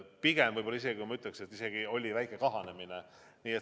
Pigem võib-olla oli isegi väike kahanemine.